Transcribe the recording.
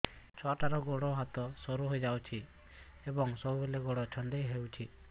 ଛୁଆଟାର ଗୋଡ଼ ହାତ ସରୁ ହୋଇଯାଇଛି ଏବଂ ସବୁବେଳେ ଗୋଡ଼ ଛଂଦେଇ ହେଉଛି